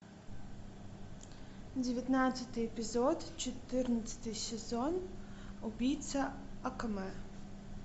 девятнадцатый эпизод четырнадцатый сезон убийца акаме